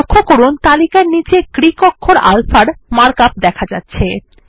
লক্ষ্য করুন তালিকার নীচে গ্রীক অক্ষর আলফার মার্ক আপ লেখা যাচ্ছে